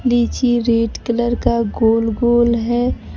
लीची red colour का गोल गोल है।